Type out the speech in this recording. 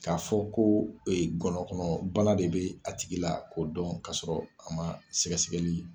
K'a fɔ ko ngɔnɔnkɔnɔbana de bɛ a tigi la k'o dɔn k'a sɔrɔ a ma sɛgɛsɛgɛli